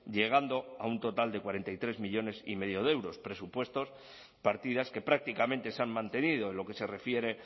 llegando a un total de cuarenta y tres millónes y medio de euros presupuestos partidas que prácticamente se han mantenido en lo que se refiere